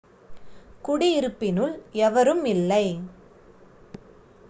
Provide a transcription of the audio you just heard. குடியிருப்பினுள் எவரும் இல்லை